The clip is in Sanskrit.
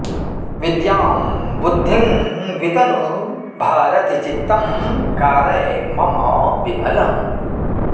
विद्यां बुद्धिं वितनु भारति चित्तं कारय मम विमलम्